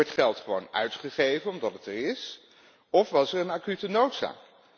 Wordt geld gewoon uitgegeven omdat het er is of was er een acute noodzaak?